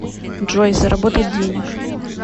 джой заработать денег